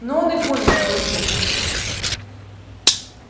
ну он и гонит твой лёха